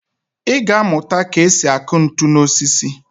Ị ga-amụta ka e si akụ ntu n'osisi